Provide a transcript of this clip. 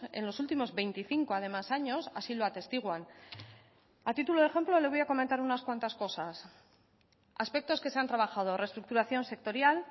en los últimos veinticinco además años así lo atestiguan a título de ejemplo le voy a comentar unas cuantas cosas aspectos que se han trabajado reestructuración sectorial